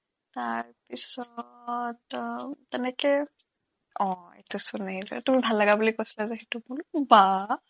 তাৰপিছত আহ তেনেকে অ' তাৰপিছত এনেকে কৰি এইটো ভাল লগা বুলি কৈছলা যে সেইটো বোলো বাঃ